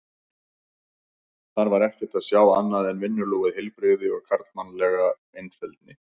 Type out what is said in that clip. Þar var ekkert að sjá annað en vinnulúið heilbrigði og karlmannlega einfeldni.